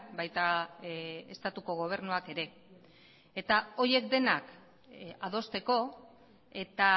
baita estatuko gobernuak ere eta horiek denak adosteko eta